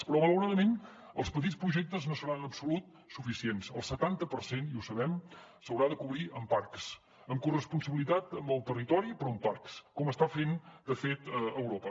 però malauradament els petits projectes no seran en absolut suficients el setanta per cent i ho sabem s’haurà de cobrir amb parcs en corresponsabilitat amb el territori però amb parcs com està fent de fet europa